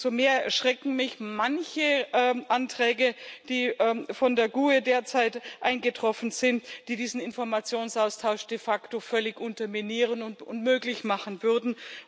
Umso mehr erschrecken mich manche Anträge, die von der GUE derzeit eingetroffen sind, die diesen Informationsaustausch de facto völlig unterminieren und unmöglich machen würden.